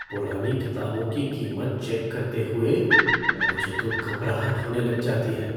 पुरानी किताबों की कीमत चेक करते हुए मुझे तो घबराहट होने लग जाती है।